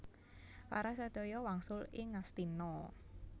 Para sadaya wangsul ing Ngastina